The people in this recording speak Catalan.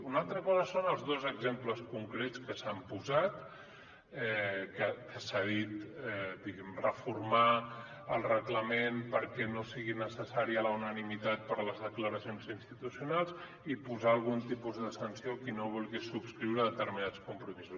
una altra cosa són els dos exemples concrets que s’han posat que s’ha dit diguem ne reformar el reglament perquè no sigui necessària la unanimitat per a les declaracions institucionals i posar algun tipus de sanció a qui no vulgui subscriure determinats compromisos